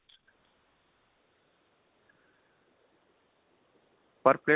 ਪਰ ਪਲੇਟ